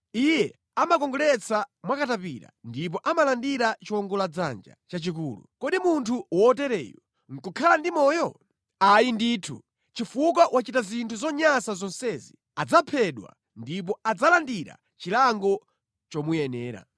Iye amakongoletsa mwa katapira ndipo amalandira chiwongoladzanja chachikulu. Kodi munthu wotereyu nʼkukhala ndi moyo? Ayi ndithu! Chifukwa wachita zinthu zonyansa zonsezi, adzaphedwa ndipo adzalandira chilango chomuyenera.